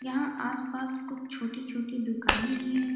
यहाँ आस-पास कुछ छोटी-छोटी दुकानें भी हैं।